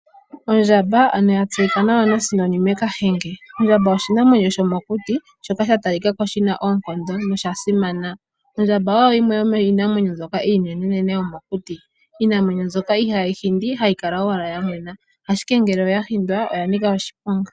Ondjamba ano yatseyika nawa Kahenge . Ondjamba oshinamwenyo shomokuti shoka shatalikako shasimana noshina oonkondo. Ondjamba oyo yimwe yomiinamwenyo mbyoka iinenenene yomokuti, iinamwenyo mbyoka ihaayi hindi, hayi kala owala yamwena. Ashike ngele oya hindwa pya nika oshiponga.